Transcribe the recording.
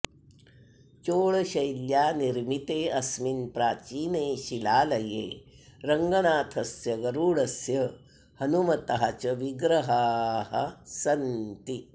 चोळशैल्या निर्मिते अस्मिन् प्राचीने शिलालये रङ्गनाथस्य गरुडस्य हनूमतः च विग्रहाः सन्ति